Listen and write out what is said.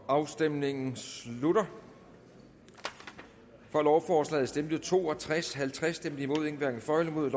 afstemningen slutter for lovforslaget stemte to og tres halvtreds hverken for eller imod